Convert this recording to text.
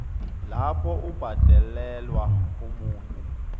lapho ubhadelela omunye